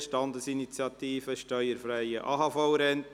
«Standesinitiative: Steuerfreie AHV-Renten!».